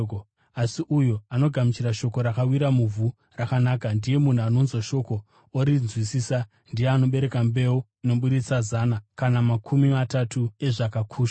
Asi uyo anogamuchira shoko rakawira muvhu rakanaka ndiye munhu anonzwa shoko orinzwisisa. Ndiye anobereka mbeu inoburitsa zana, kana makumi matanhatu kana makumi matatu ezvakakushwa.”